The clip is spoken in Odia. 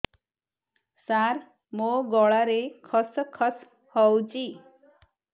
ସାର ମୋ ଗଳାରେ ଖସ ଖସ ହଉଚି